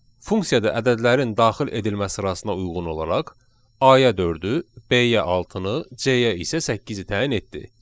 Funksiyada ədədlərin daxil edilmə sırasına uyğun olaraq, A-ya dördü, B-yə altını, C-yə isə səkkizi təyin etdi.